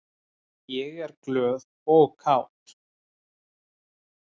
Ég er glöð og kát.